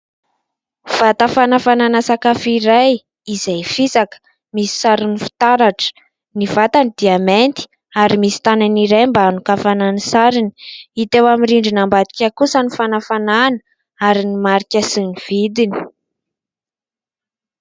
Vata fanafanana sakafo iray izay fisaka, misy sarony fitaratra. Ny vatany dia mainty ary misy tanany iray mba anokafana ny sarony. Hita eo amin'ny rindrina ambadika kosa ny fanafanana ary ny marika sy ny vidiny.